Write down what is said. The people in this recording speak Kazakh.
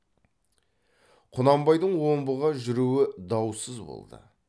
құнанбайдың омбыға жүруі даусыз болды